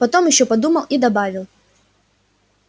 потом ещё подумал и добавил